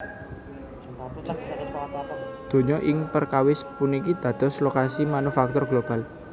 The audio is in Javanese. Donya ing perkawis puniki dados lokasi manufaktur global